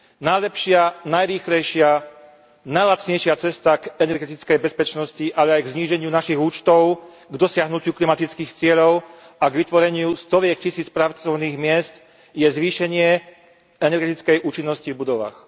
Najlepšia, najrýchlejšia, najlacnejšia cesta k energetickej bezpečnosti, ale aj k zníženiu našich účtov, k dosiahnutiu klimatických cieľov a k vytvoreniu stoviek tisíc pracovných miest je zvýšenie energetickej účinnosti v budovách.